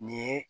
Nin ye